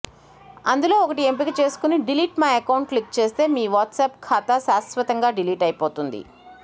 అందులో ఒకటి ఎంపిక చేసుకుని డిలీట్ మై అకౌంట్ క్లిక్ చేస్తే మీ వాట్సాప్ ఖాతా శాశ్వతంగా డిలీట్ అయిపోతుంది